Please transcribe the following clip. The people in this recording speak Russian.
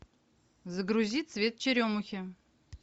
загрузи цвет черемухи